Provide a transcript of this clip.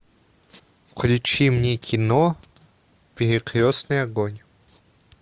включи мне кино перекрестный огонь